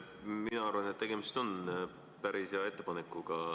Mina arvan, et tegemist on päris hea ettepanekuga.